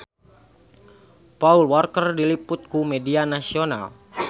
Paul Walker diliput ku media nasional